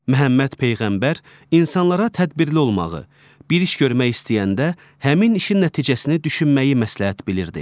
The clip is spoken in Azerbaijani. Məhəmməd Peyğəmbər insanlara tədbirli olmağı, bir iş görmək istəyəndə həmin işin nəticəsini düşünməyi məsləhət bilirdi.